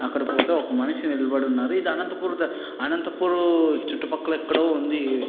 అక్కడ పోతే ఒక మనిషి నిలబడి ఉన్నాడు. ఇది అనంతపూర్ అనంతపూర్ చుట్టూ పక్కల ఎక్కడో ఉంది. ఈ --